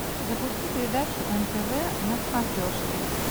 запусти передачу нтв на смотрешке